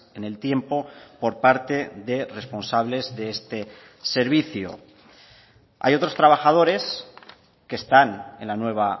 en el tiempo por parte de responsables de este servicio hay otros trabajadores que están en la nueva